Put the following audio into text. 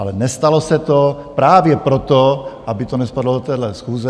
Ale nestalo se to právě proto, aby to nespadlo do téhle schůze.